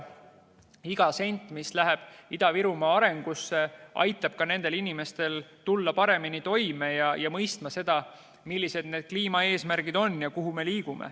Iga sent, mis läheb Ida-Virumaa arengusse, aitab nendel inimestel tulla paremini toime ja mõista, millised need kliimaeesmärgid on ja kuhu me liigume.